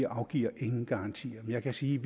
afgiver ingen garantier men jeg kan sige